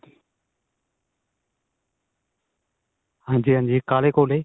ਹਾਂਜੀ ਹਾਂਜੀ ਕਾਲੇ ਕੋਲੇ